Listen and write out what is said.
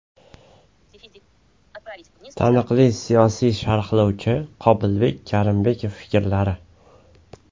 Taniqli siyosiy sharhlovchi Qobilbek Karimbekov fikrlari .